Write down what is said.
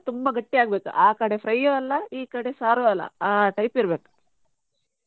ತುಂಬಾ ಗಟ್ಟಿ ಆಗ್ಬೇಕು ಆ ಕಡೆ fry ಯು ಅಲ್ಲ ಈ ಕಡೆ ಸಾರು ಅಲ್ಲ ಆ type ಇರ್ಬೇಕು.